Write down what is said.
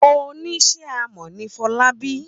Ó níṣe amọ̀ ni Fọlábí.